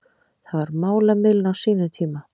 Það var málamiðlun á sínum tíma